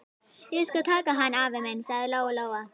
Ég skal taka hann, afi minn, sagði Lóa-Lóa.